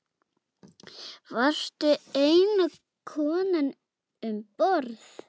Varstu eina konan um borð?